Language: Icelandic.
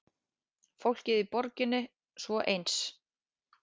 Fólkið í borginni svo eins.